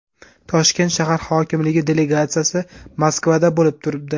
Toshkent shahar hokimligi delegatsiyasi Moskvada bo‘lib turibdi.